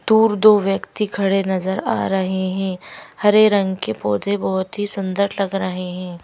दूर दो व्यक्ति खड़े नजर आ रहे हैं हरे रंग के पौधे बहोत ही सुंदर लग रहे हैं।